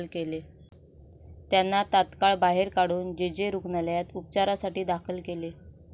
त्यांना तात्काळ बाहेर काढून जे. जे. रुग्णालयात उपचारासाठी दाखल केले.